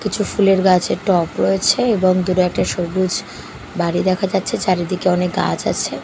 কিছু ফুলের গাছের টব রয়েছে এবং দূরে একটা সবুজ বাড়ি দেখা যাচ্ছে চারিদিকে অনেক গাছ আছে --